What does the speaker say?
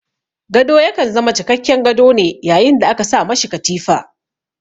Gado ya kan zama cikakken gado ne yayin da aka sa ma shi katifa.